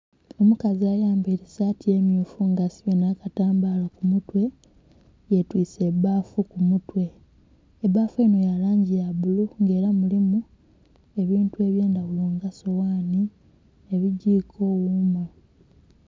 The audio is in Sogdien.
Omukazi ayambaile saati emyufu nga asibye nha katambala ku mutwe, yetwise baafu ku mutwe, ebaafu enho ya langi ya bulu nga ela mulimu ebintu ebyendhaghulo nga soghanhi, ebigiko, ghuma.